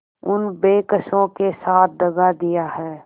उन बेकसों के साथ दगा दिया है